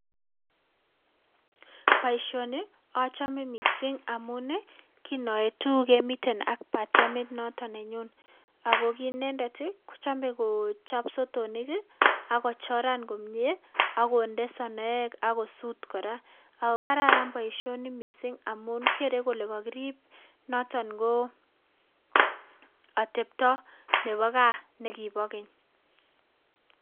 Boisioni achame mising amun ii , kinoetu kemiten ak batiemit noton nenyun, ako ki inendet ii, kochome kochop sotonik ii ako choran komie ak konde sonoek ak kosut kora. Ako kararan boisioni mising amun kere kole kakirip noton ko atepto nebo gaa ne kibo keny.